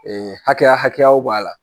Ɛɛ hakɛya hakɛyaw b'a la